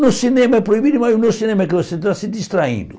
No cinema é proibido, mas no cinema é que você está se distraindo.